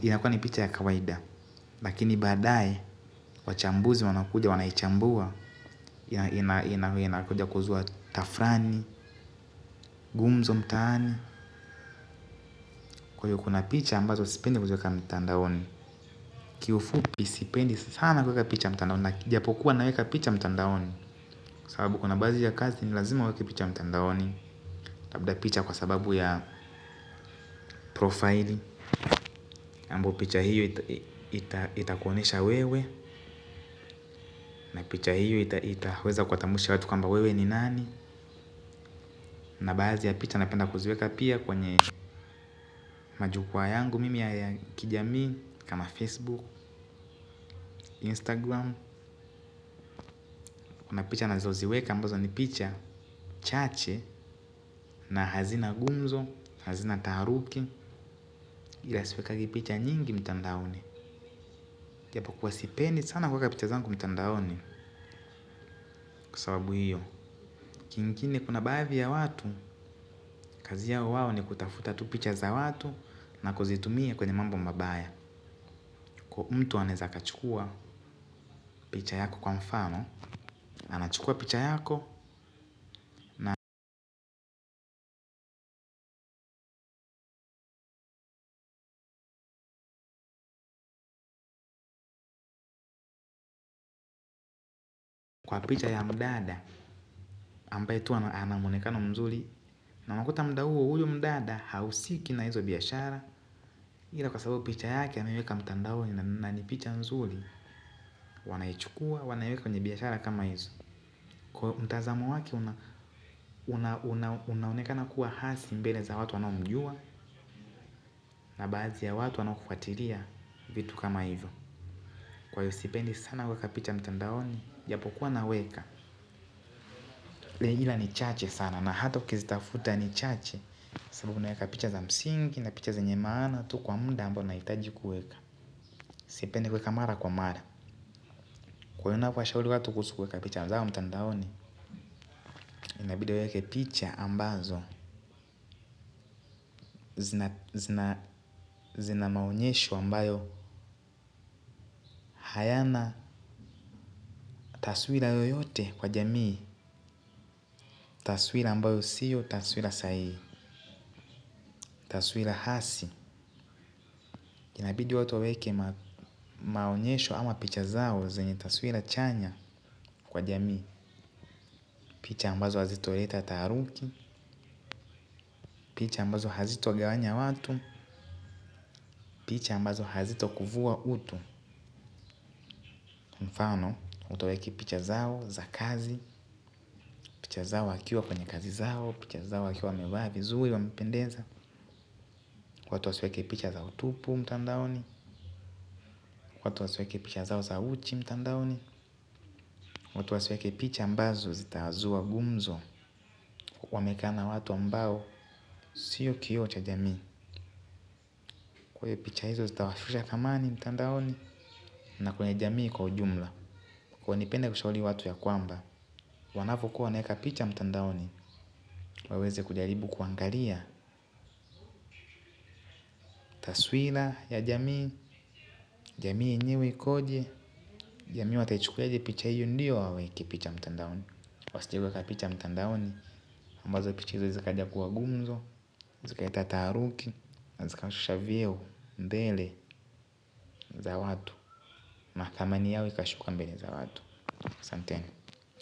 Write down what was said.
inakua ni picha ya kawaida. Lakini baadae, wachambuzi wanakuja, wanaichambua. Inakuja kuzua tafrani, gumzo mtaani. Kwa hiyo kuna picha, ambazo sipendi kuziweka mtandaoni. Kiufupi sipendi sana kuweka picha mtandaoni. Na ijapokuwa naweka picha mtandaoni sababu kuna baadhi ya kazi, ni lazima uweke picha mtandaoni labda picha kwa sababu ya profili ambao picha hiyo itakuonyesha wewe na picha hio itaweza kuwatambulisha watu kwamba wewe ni nani. Na baadhi ya picha napenda kuziweka pia kwenye majukwa yangu mimi ya kijamii kama Facebook, Instagram. Kuna picha nazoziweka ambazo ni picha chache. Na hazina gumzo, hazina taharuki. Ila siwekagi picha nyingi mtandaoni ijapokuwa sipendi sana kuweka picha zangu mtandaoni. Kwa sababu hiyo. Kingine kuna baadhi ya watu, kazi yao wao ni kutafuta tu picha za watu na kuzitumia kwenye mambo mabaya. Kwa mtu anaeza kachukua picha yako kwa mfano, anachukua picha yako na picha ya mdada ambaye tu ana muonekano mzuri na unakuta mda huo huyo mdada hahusiki na hizo biashara ila kwa sababu picha yake anaweka mtandaoni na ni picha mzuri wanaichukua wanaiweka kwenye biashara kama ivo kwa mtazamo wake una unaonekana kuwa hasi mbele za watu wanaomjua. Na baadhi ya watu wanaokufatilia vitu kama hivyo. Kwaivo sipendi sana kuweka picha mtandaoni. Japokuwa naweka. Lile jina ni chache sana na hata ukizitafuta ni chache. Sababu naweka picha za msingi na picha zenye maana tu kwa muda ambao nahitaji kueka. Sipendi kueka mara kwa mara. Kwaivo ninavowashauri watu kuhusu kuweka picha mtandaoni. Inabidi aweke picha ambazo zina maonyesho ambayo hayana taswira yoyote kwa jamii. Taswira ambayo sio taswira sayi. Taswira hasi inabidi watu waweke maonyesho ama picha zao. Zenye taswira chanya kwa jamii. Picha ambazo hazitoleta taharuki. Picha ambazo hazitagawanya watu. Picha ambazo hazitakuvua utu. Mfano mtu aweke picha zao za kazi. Picha zao wakiwa kwenye kazi zao. Picha zao wakiwa wamvaa vizuri wamependeza. Watu wasiweke picha zao tupu mtandaoni watu wasiweke picha zao za uchi mtandaoni watu wasiweke picha ambazo zitazua gumzo kuonekana watu ambao sio kioo cha jamii ikuwe picha hizo zitawashusha thamani mtandaoni. Na kwenye jamii kwa ujumla. Kwaivo nipende kushauri watu ya kwamba wanavokuwa wanaeka picha mtandaoni. Waweze kujaribu kuangalia. Taswira ya jamii. Jamii yenyewe ikoje jamii wataichukuliaje picha hiyo ndiyo hawaweki picha mtandaoni wasijeweka picha mtandaoni ambazo picha izo zikaja kuwa gumzo zikaleta taharuki zikashusha vyeo ndele za watu na thamani yao ikashuka mbele za watu asanteni.